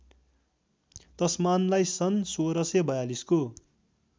तस्मानलाई सन् १६४२ को